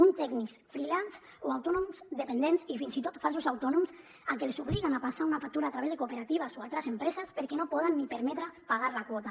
uns tècnics freelances o autònoms dependents i fins i tot falsos autònoms a qui els obliguen a passar una factura a través de cooperatives o altres empreses perquè no es poden ni permetre pagar la quota